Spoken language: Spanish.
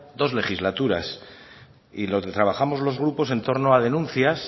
dos legislaturas y lo que trabajamos los grupos en torno a denuncias